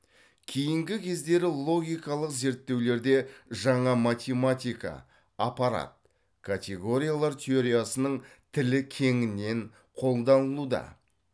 кейінгі кездері логикалық зерттеулерде жаңа математика аппарат категориялар теориясының тілі кеңінен қолданылуда